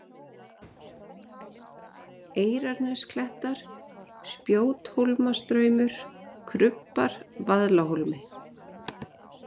Eyrarnesklettar, Spjóthólmastraumur, Krubbar, Vaðlahólmi